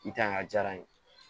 I tanya diyara n ye